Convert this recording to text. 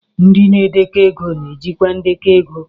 Ndị na-edekọ ego na-ejikwa ndekọ ego